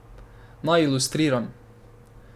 Naj ilustriram.